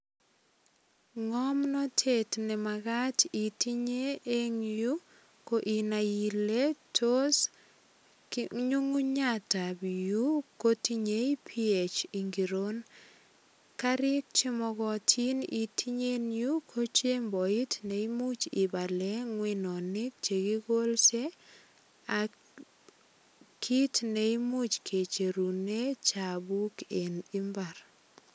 Ngomnatet ne magat itinye eng yu inai ile tos nyungunyat ab yu kotinyei ph ingiron. Karik che mogotin itinye en yu ko chemboit ne imuch ibale ngwenonik che kikolse ak kit ne imuch kicherunen chapuk eng imbar.